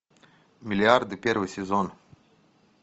миллиарды первый сезон